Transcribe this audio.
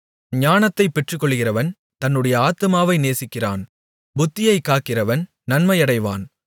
ஞானத்தைப் பெற்றுக்கொள்ளுகிறவன் தன்னுடைய ஆத்துமாவை நேசிக்கிறான் புத்தியைக் காக்கிறவன் நன்மையடைவான்